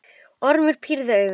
Ormur pírði augun.